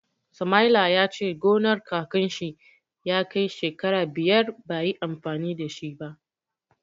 Samaila ya ce gonar kakan shi ya kai shekara biyar bai yi amfani da shi ba.